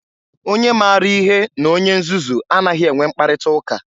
Onye maara ihe na onye nzuzu anaghị enwe mkparịta ụka.